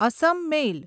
Assam મેલ